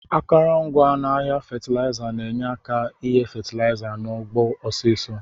Akọrọngwa n'agha fatilaiza na enye aka igha fatilaiza n'ugbo ọsisọ.